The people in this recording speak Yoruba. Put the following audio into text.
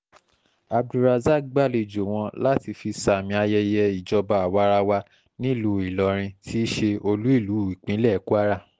abdulrasaq gbàlejò wọn láti fi sàmì ayẹyẹ ìjọba àwa-ara-wa nílùú ìlọrin ti ṣe olú ìlú ìpínlẹ̀ kwara